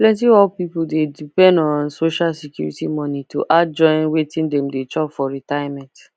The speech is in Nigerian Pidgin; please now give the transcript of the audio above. plenty old people dey depend on social security money to add join wetin dem dey chop for retirement